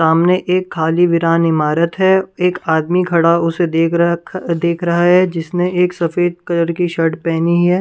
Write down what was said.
सामने एक खाली विरान इमारत है एक आदमी खड़ा उसे देख र-- देख रहा है जिसने एक सफेद कलर की शर्ट पहनी है ।